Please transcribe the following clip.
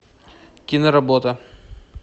киноработа